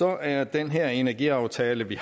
er den her energiaftale vi